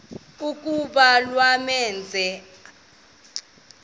kuba kwamenzela igama